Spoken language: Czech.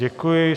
Děkuji.